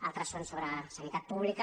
altres són sobre sanitat pública